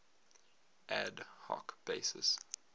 ad hoc basis